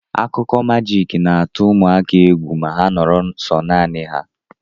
Akụkọ majiiki na-atụ ụmụaka egwu ma ha noro so nani ha.